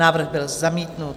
Návrh byl zamítnut.